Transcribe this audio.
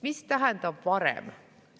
Mis tähendab varem?